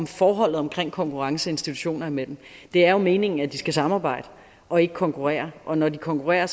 forholdet omkring konkurrence institutioner imellem det er jo meningen at de skal samarbejde og ikke konkurrere og når de konkurrerer